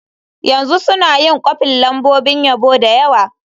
Yanzu suna yin kwafin lambobin yabo da yawa.